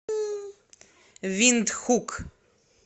виндхук